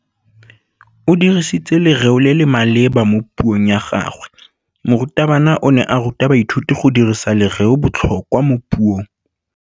O dirisitse lerêo le le maleba mo puông ya gagwe. Morutabana o ne a ruta baithuti go dirisa lêrêôbotlhôkwa mo puong.